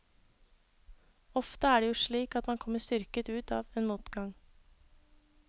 Ofte er det jo slik at man kommer styrket ut av en motgang.